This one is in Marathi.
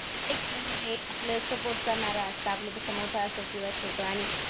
एक आपलं सपोर्ट करणारा असता, आपल्यापेक्षा मोठा असंल किंवा छोटा आणि